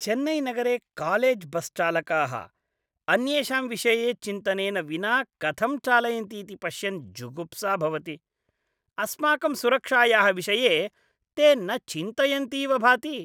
चेन्नैनगरे कालेज्बस्चालकाः अन्येषां विषये चिन्तनेन विना कथं चालयन्तीति पश्यन् जुगुप्सा भवति, अस्माकं सुरक्षायाः विषये ते न चिन्तयन्तीव भाति।